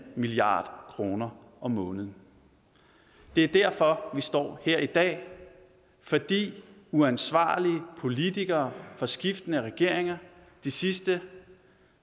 milliard kroner om måneden det er derfor vi står her i dag fordi uansvarlige politikere fra skiftende regeringer de sidste